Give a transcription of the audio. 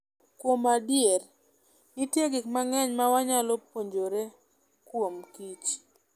Kuom adier, nitie gik mang'eny ma wanyalo puonjore kuomkich.